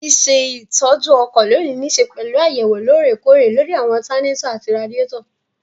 Ṣíṣe ìtọ́jú ọkọ̀ lónìí nííṣe pẹ̀lú àyẹ̀wò lóòrè kóòrè lóri àwọn ọtanátọ̀ àti radíàtọ̀